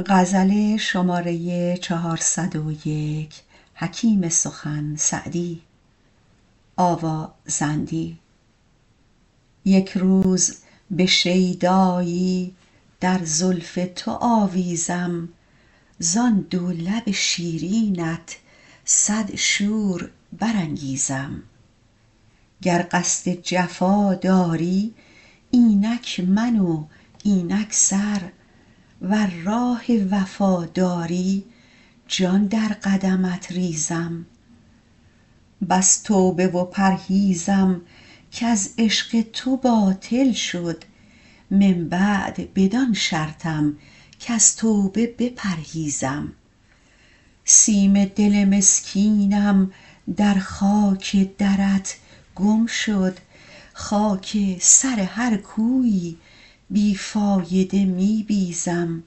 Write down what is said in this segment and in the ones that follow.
یک روز به شیدایی در زلف تو آویزم زان دو لب شیرینت صد شور برانگیزم گر قصد جفا داری اینک من و اینک سر ور راه وفا داری جان در قدمت ریزم بس توبه و پرهیزم کز عشق تو باطل شد من بعد بدان شرطم کز توبه بپرهیزم سیم دل مسکینم در خاک درت گم شد خاک سر هر کویی بی فایده می بیزم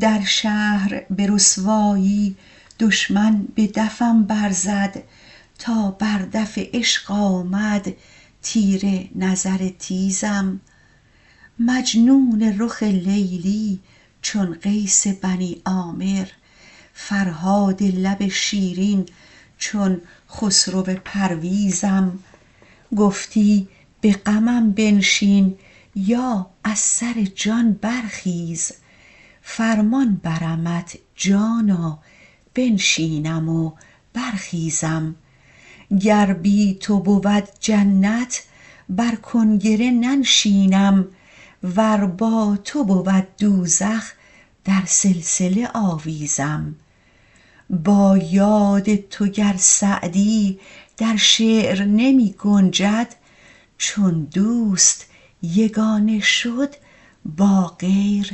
در شهر به رسوایی دشمن به دفم برزد تا بر دف عشق آمد تیر نظر تیزم مجنون رخ لیلی چون قیس بنی عامر فرهاد لب شیرین چون خسرو پرویزم گفتی به غمم بنشین یا از سر جان برخیز فرمان برمت جانا بنشینم و برخیزم گر بی تو بود جنت بر کنگره ننشینم ور با تو بود دوزخ در سلسله آویزم با یاد تو گر سعدی در شعر نمی گنجد چون دوست یگانه شد با غیر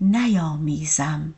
نیامیزم